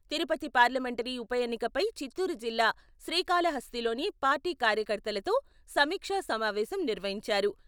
Tirupati parliamentary ఉప ఎన్నికపై చిత్తూరు జిల్లా శ్రీకాళహస్తిలోని పార్టీ కార్యకర్తలతో సమీక్ష సమావేశం నిర్వహించారు.